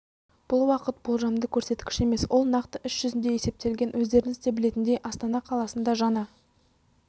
бұл уақыт болжамды көрсеткіш емес ол нақты іс жүзінде есептелген өздеріңіз де білетіндей астана қаласында жаңа